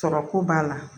Sɔrɔko b'a la